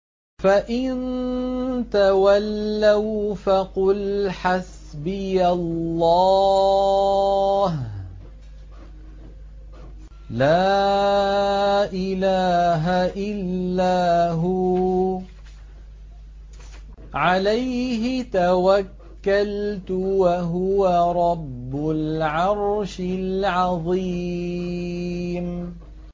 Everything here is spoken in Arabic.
فَإِن تَوَلَّوْا فَقُلْ حَسْبِيَ اللَّهُ لَا إِلَٰهَ إِلَّا هُوَ ۖ عَلَيْهِ تَوَكَّلْتُ ۖ وَهُوَ رَبُّ الْعَرْشِ الْعَظِيمِ